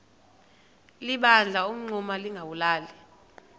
liphanda umngxuma lingawulali